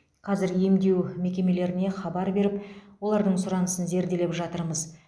қазір емдеу мекемелеріне хабар беріп олардың сұранысын зерделеп жатырмыз